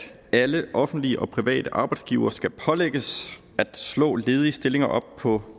at alle offentlige og private arbejdsgivere skal pålægges at slå ledige stillinger op på